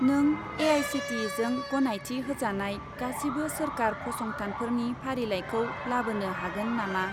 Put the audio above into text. नों ए.आइ.सि.टि.इ.जों गनायथि होजानाय गासिबो सोरखार फसंथानफोरनि फारिलाइखौ लाबोनो हागोन नामा?